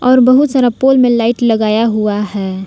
और बहुत सारा पोल में लाइट लगाया हुआ है।